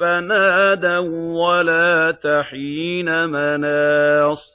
فَنَادَوا وَّلَاتَ حِينَ مَنَاصٍ